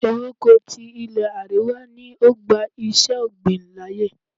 Ewéko ti ilé àríwá ni ó gba iṣé ọ̀gbìn láyè.